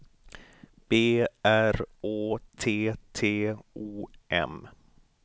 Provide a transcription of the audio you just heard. B R Å T T O M